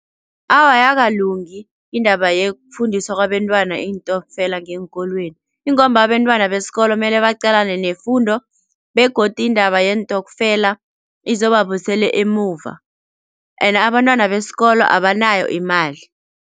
Awa ayakalungi indaba yokufundisa kwabentwana iintokfela ngeenkolweni ingomba abentwana besikolo mele baqalane nefundo begodu indaba yeentokfela izobabuyisela emuva ende abantwana besikolo abanayo imali.